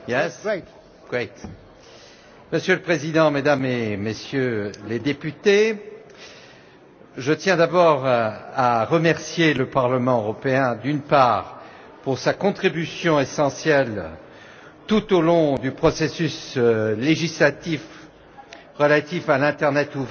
Monsieur le Président, Mesdames et Messieurs les députés, je tiens d'abord à remercier le Parlement européen d'une part pour sa contribution essentielle tout au long du processus législatif relatif à l'internet ouvert et à la fin du